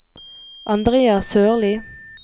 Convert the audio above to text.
Andrea Sørlie